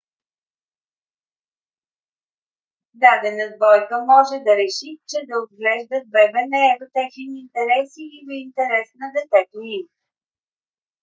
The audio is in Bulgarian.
дадена двойка може да реши че да отглеждат бебе не е в техен интерес или в интерес на детето им